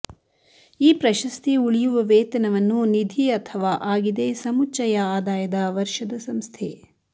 ಈ ಪ್ರಶಸ್ತಿ ಉಳಿಯುವ ವೇತನವನ್ನು ನಿಧಿ ಅಥವಾ ಆಗಿದೆ ಸಮುಚ್ಚಯ ಆದಾಯದ ವರ್ಷದ ಸಂಸ್ಥೆ